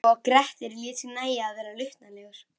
Svo að Grettir lét sér nægja að verða luntalegur.